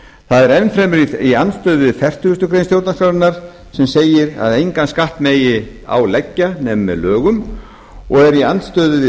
það er enn fremur í andstöðu við fertugasti grein stjórnarskrárinnar sem segir að engan skatt megi án leggja nema með lögum og er í andstöðu við